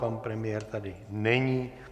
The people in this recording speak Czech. Pan premiér tady není.